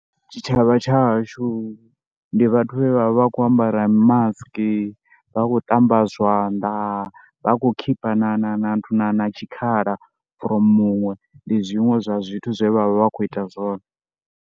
Tshitshavha tsha hashu ndi vhathu vhane vha vha khou ambara mimasiki, vha khou ṱamba zwanḓa, vha khou khipha na na na na na tshikhala from muṅwe ndi zwiṅwe zwa zwithu zwe vha vha kho ita zwone.